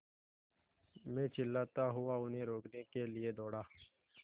मैं चिल्लाता हुआ उन्हें रोकने के लिए दौड़ा